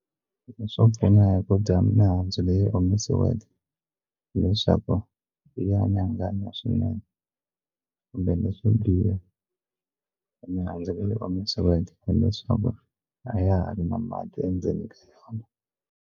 Leswo pfuna hi ku dya mihandzu leyi omisiweke hileswaku ya nyanganya swinene kumbe leswo biha i mihandzu leyi omisiweke hileswaku a ya ha ri na mati endzeni ka yona.